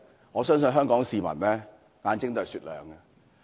我相信香港市民的眼睛是雪亮的。